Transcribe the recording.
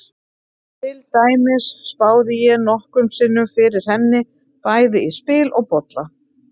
Til dæmis spáði ég nokkrum sinnum fyrir henni, bæði í spil og bolla.